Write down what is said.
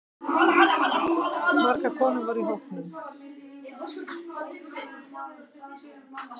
Margar konur voru í hópnum